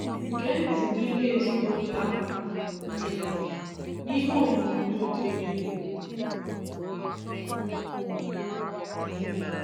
Gee ntị n'ihe ezinụụlọ ahụ kwuru n'uju n'ihe onyonyo dị n'elu